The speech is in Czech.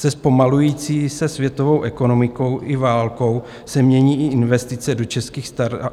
Se zpomalující se světovou ekonomikou i válkou se mění i investice do českých startupů.